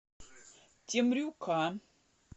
темрюка